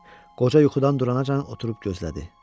Qoca yuxudan durancan oturub gözlədi.